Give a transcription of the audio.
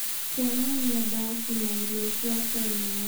kuonania ndaci na irio cia tene.